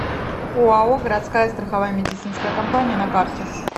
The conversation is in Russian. оао городская страховая медицинская компания на карте